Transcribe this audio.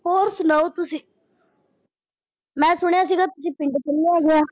ਹੋਰ ਸੁਣਾਉ ਤੁਸੀਂ ਮੈਂ ਸੁਣਿਆ ਸੀਗਾ ਤੁਸੀਂ ਪਿੰਡ ਚੱਲੇ ਹੈਗੇ ਆ।